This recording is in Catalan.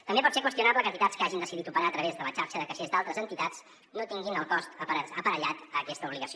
també pot ser qüestionable que entitats que hagin decidit operar a través de la xarxa de caixers d’altres entitats no tinguin el cost aparellat a aquesta obligació